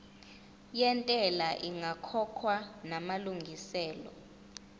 yentela ingakakhokhwa namalungiselo